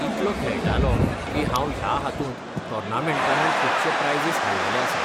इतलो खेळटालो की हांव ह्या हातूंत टॉर्नमेन्टानूय खुबशे प्रायझीस हाडलेले आसात.